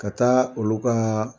Ka taa olu ka